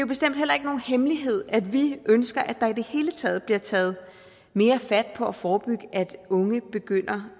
bestemt heller ikke nogen hemmelighed at vi ønsker at der i det hele taget bliver taget mere fat på at forebygge at unge begynder